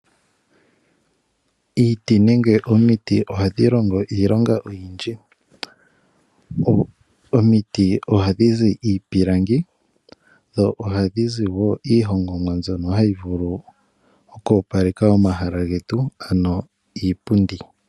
Iiti nenge omiti ohadhi longo iilonga oyindji. Omiti ohadhi zi iipilangi dho ohadhi zi wo iihongomwa mbyono hayi vulu oku opaleka omahala getu, ano iipundi.